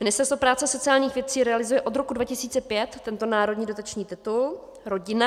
Ministerstvo práce a sociálních věcí realizuje od roku 2005 tento národní dotační titul Rodina.